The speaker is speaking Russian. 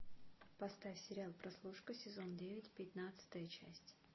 поставь сериал прослушка сезон девять пятнадцатая часть